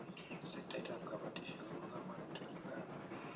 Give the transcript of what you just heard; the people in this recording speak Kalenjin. Sektait ab kabotishe ko bo komonut eng Uganda.